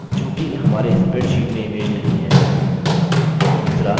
चूँकि हमारे spreadsheet में image नहीं है